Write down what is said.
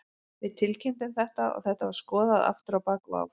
Við tilkynntum þetta og þetta var skoðað aftur á bak og áfram.